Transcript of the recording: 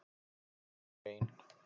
Hún er ein.